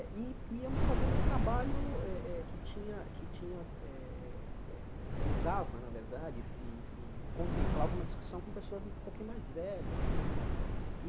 E íamos fazendo um trabalho eh eh que tinha que tinha eh eh eh visava, na verdade, e e e contemplava uma discussão com pessoas um pouquinho mais velhas né.